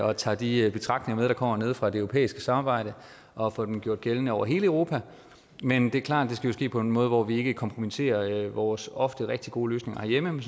og tager de betragtninger med der kommer nede fra det europæiske samarbejde og får dem gjort gældende over hele europa men det er klart at skal ske på en måde hvor vi ikke kompromitterer vores ofte rigtig gode løsninger herhjemme men